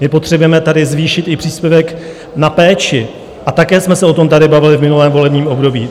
My potřebujeme tady zvýšit i příspěvek na péči a také jsme se o tom tady bavili v minulém volebním období.